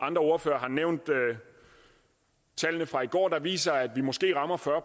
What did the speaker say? andre ordførere har nævnt tallene fra i går der viser at vi måske rammer fyrre